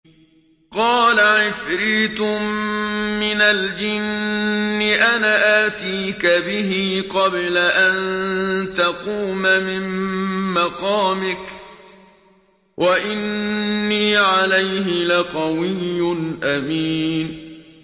قَالَ عِفْرِيتٌ مِّنَ الْجِنِّ أَنَا آتِيكَ بِهِ قَبْلَ أَن تَقُومَ مِن مَّقَامِكَ ۖ وَإِنِّي عَلَيْهِ لَقَوِيٌّ أَمِينٌ